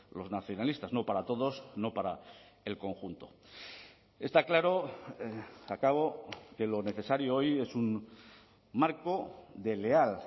los nacionalistas no para todos no para el conjunto está claro acabo que lo necesario hoy es un marco de leal